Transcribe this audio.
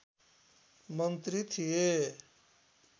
मन्त्री थिए